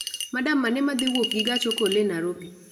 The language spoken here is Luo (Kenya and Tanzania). Madam mane madhi wuok gi gach okolo e Nairobi